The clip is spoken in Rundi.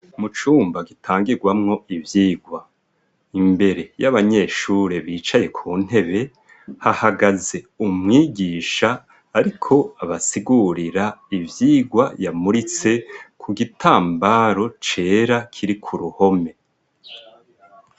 Mu cumba gitangirwamwo ivyigwa. Imbere y'abanyeshure bicaye ku ntebe, hahagaze umwigisha ariko abasigurira ivyigwa yamuritse ku gitambaro cera kiri ku ruhome.